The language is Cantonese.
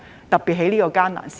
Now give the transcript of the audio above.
特別是在這個艱難的時刻。